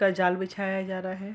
का जाल बिछाया जा रहा है --